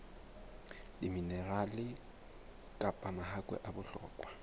diminerale kapa mahakwe a bohlokwa